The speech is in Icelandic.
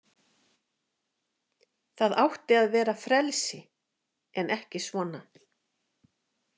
Það átti að vera frelsi en ekki svona.